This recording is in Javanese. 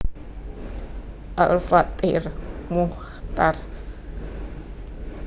Al Fathir Muchtar